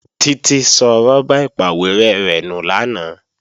Títí sọ rọ́bà ìpàwérẹ́ rẹ̀ nù lánàá